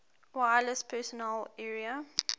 wireless personal area